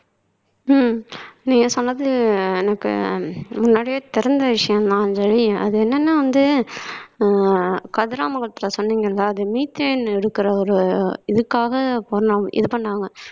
உம் நீங்க சொன்னது எனக்கு முன்னாடியே தெரிஞ்ச விஷயம்தான் அஞ்சலி அது என்னன்னா வந்து அஹ் கதிராமங்கலத்துல சொன்னீங்க இல்ல அது methane எடுக்கிற ஒரு இதுக்காக இது பண்ணாங்க